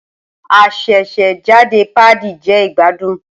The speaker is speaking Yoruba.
Asesejade paadi je igbadun.